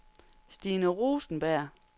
Stine Rosenberg